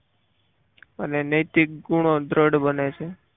અને નૈતિક ગુણો દ્રઢ બને છે.